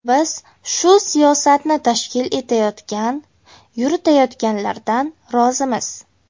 Biz shu siyosatni tashkil etayotgan, yuritayotganlardan rozimiz.